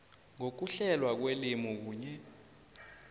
ngokuhlelwa kwelimi kunye